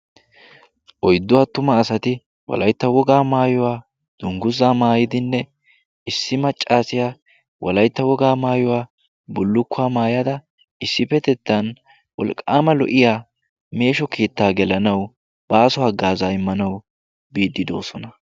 oiddu atuma asati walaitta wogaa maayuwaa dungguzaa maayidinne issi maccaasiyaa walaitta wogaa maayuwaa bullukkuwaa maayada issippetettan wolqqaama lo77iya meesho kiittaa gelanawu baaso aggaazaa immanawu biiddi doosona.